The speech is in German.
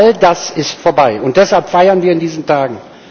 All das ist vorbei, und deshalb feiern wir in diesen Tagen.